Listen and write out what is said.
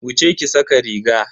Wuce ki sa ka riga.